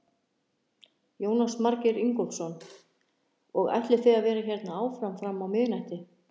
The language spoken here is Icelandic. Jónas Margeir Ingólfsson: Og ætlið þið að vera hérna áfram fram á miðnætti?